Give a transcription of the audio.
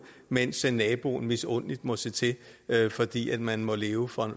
mens naboen misundeligt må se til fordi man må leve for